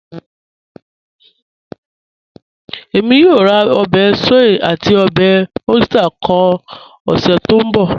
Ẹ̀mí yóò rá obè soy àti obè oyster kọ́ ọ̀sẹ̀ tó nbọ̀.